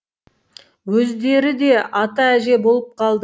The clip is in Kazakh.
өздері де ата әже болып қалды